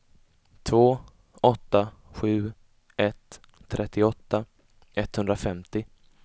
två åtta sju ett trettioåtta etthundrafemtio